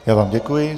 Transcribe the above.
Já vám děkuji.